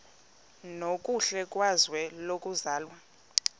nokuhle kwizwe lokuzalwa